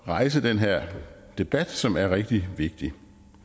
rejse den her debat som er rigtig vigtigt